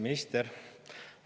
Kaitseminister!